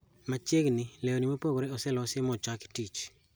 Machiegni, leuni mopogore oselosi mochaki tich